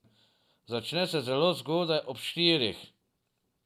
Začne se zelo zgodaj, ob štirih.